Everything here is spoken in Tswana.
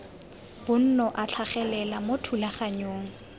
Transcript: bonno a tlhagelela mo thulaganyong